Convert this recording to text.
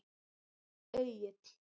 Egill